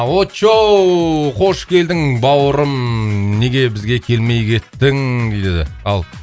очоу қош келдің бауырым неге бізге келмей кеттің дейді ал